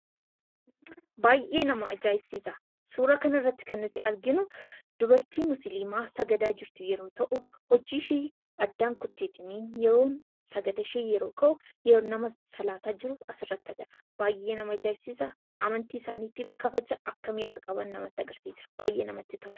Baay'ee nama ajaa'ibsiisa. Suuraa kanarratti kan arginu dubartii musliimaa sagadaa jirtu yeroo ta'u, hojiishee adda kuttee sagadishee yeroo gahu salaataa jirtu asirratti argina. Baay'ee nama ajaa'ibsiisa baay'ee namatti tola.